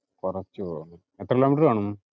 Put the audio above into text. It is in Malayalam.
കുറച്ചു പോണം. എത്ര kilometer കാണും?